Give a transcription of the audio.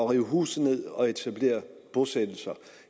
rive huse ned og etablere bosættelser